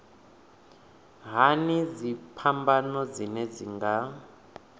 hani dziphambano dzine dzi nga